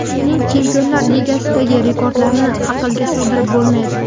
Uning Chempionlar Ligasidagi rekordlarini aqlga sig‘dirib bo‘lmaydi.